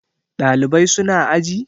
Ɗalibai su na aji?